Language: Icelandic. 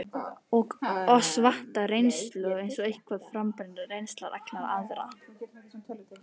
Og oss vantar reynslu, sem er eitthvað frábrugðin reynslu allra annarra.